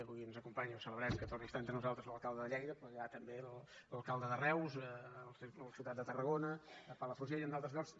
avui ens acompanya i ho celebrem que torni a estar entre nosaltres l’alcalde de lleida però hi ha també l’alcalde de reus el de la ciutat de tarragona de palafrugell en d’altres llocs